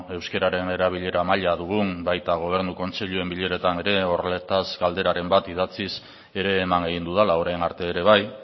euskeraren erabilera maila dugun baita gobernu kontseiluen bileretan ere horretaz galderaren bat idatziz ere eman egin dudala orain arte ere bai